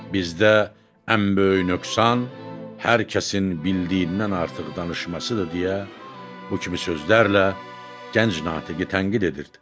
Bizdə ən böyük nöqsan hər kəsin bildiyindən artıq danışmasıdır deyə bu kimi sözlərlə gənc natiqi tənqid edirdi.